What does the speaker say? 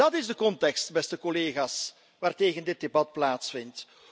Dat is de context, beste collega's, waartegen dit debat plaatsvindt.